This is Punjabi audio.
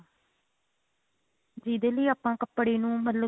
ਜਿਹਦੇ ਲਈ ਆਪਾਂ ਕੱਪੜੇ ਨੂੰ ਮਤਲਬ